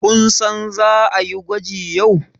kun san za a yi gwaji yau?